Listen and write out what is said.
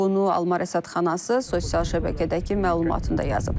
Bunu Almar rəsədxanası sosial şəbəkədəki məlumatında yazıb.